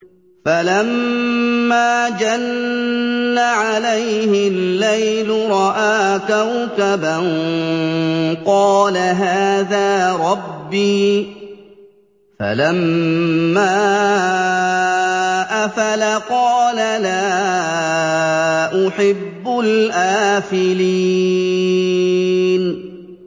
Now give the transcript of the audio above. فَلَمَّا جَنَّ عَلَيْهِ اللَّيْلُ رَأَىٰ كَوْكَبًا ۖ قَالَ هَٰذَا رَبِّي ۖ فَلَمَّا أَفَلَ قَالَ لَا أُحِبُّ الْآفِلِينَ